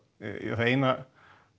það eina